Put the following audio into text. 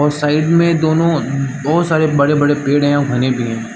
और साइड में दोनों बहुत सारे बड़े-बड़े पेड़ है और घने भी है।